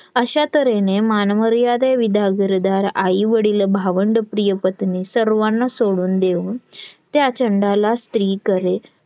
अश्या तऱ्हेने मानमर्यादे विदा घरदार आई वडील भावंडं प्रिय पत्नी सर्वाना सोडून देऊन त्या चंडाला स्त्रीकडे